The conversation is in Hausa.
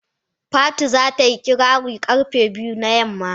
Fatu za ta yi kirari karfe biyu na yamma.